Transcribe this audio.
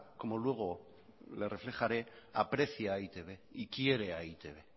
como luego le reflejaré aprecia a e i te be y quiere a e i te be